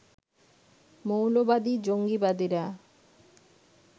মৌলবাদী-জঙ্গীবাদীরা